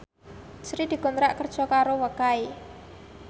Sri dikontrak kerja karo Wakai